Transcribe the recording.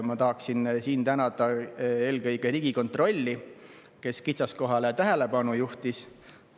Ma tahan tänada eelkõige Riigikontrolli, kes kitsaskohale tähelepanu juhtis.